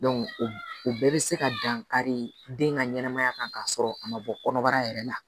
o bɛɛ bɛ se ka dankari den ka ɲɛnɛmaya kan k'a sɔrɔ a ma bɔ kɔnɔbara yɛrɛ la